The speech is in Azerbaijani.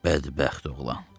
Bədbəxt oğlan.